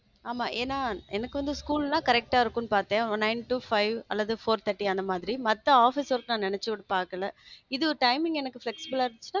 ஆமா ஏனா எனக்கு வந்து school ன்னா correct ஆ இருக்கும்னு பார்த்தேன் ஒரு nine to five அல்லது four thirty அந்த மாதிரி மத்த office work நா நினைச்சு கூட பாக்கல இது timing எனக்கு flexible